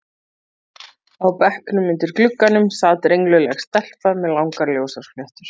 Á bekknum undir glugganum sat rengluleg stelpa með langar ljósar fléttur.